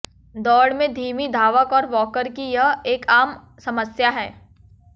दौड़ में धीमी धावक और वॉकर की यह एक आम समस्या है